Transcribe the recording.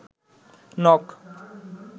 নখ